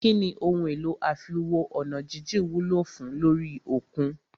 Kínní ohun èlò àfiwo-ọ̀nàjíjìn wúlò fùn ún lórí òkun?